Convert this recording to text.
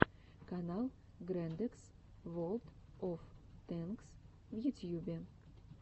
канал грэндэкс волд оф тэнкс в ютьюбе